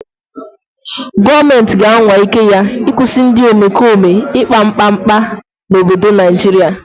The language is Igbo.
Gọọmenti ga-anwa ike ya ịkwụsị ndị omekome ikpa mkpa mkpa n'obodo Naijiria.